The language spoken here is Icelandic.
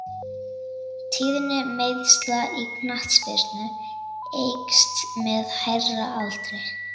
Tíðni meiðsla í knattspyrnu eykst með hærri aldri.